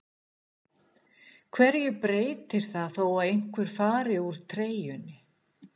Hverju breytir það þó einhver fari úr treyjunni?